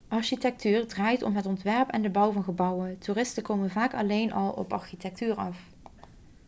architectuur draait om het ontwerp en de bouw van gebouwen toeristen komen vaak alleen al op architectuur af